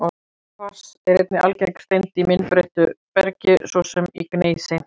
Kvars er einnig algeng steind í myndbreyttu bergi, svo sem í gneisi.